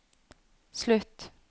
slutt